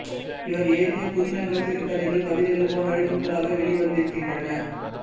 இவர் எழுதிய புதினங்கள் சிறுகதைகள் கவிதைகள் போன்றவை நூல்களாக வெளி வந்திருக்கின்றன